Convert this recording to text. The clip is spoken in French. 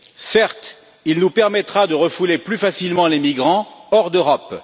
Certes, il nous permettra de refouler plus facilement les migrants hors d'Europe.